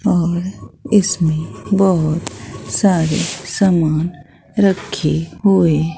और इसमें बहुत सारे सामान रखे हुए--